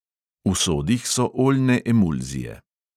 V sodih so oljne emulzije.